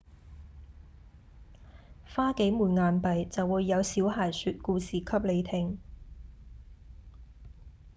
花幾枚硬幣就會有小孩說故事給你聽